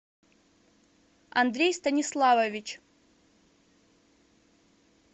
андрей станиславович